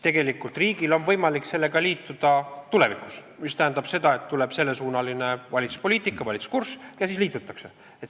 Tegelikult on riigil võimalik sellega siis liituda tulevikus, mis tähendab, et tuleb sellesuunaline valitsuspoliitika, valitsuskurss ja siis liitutakse.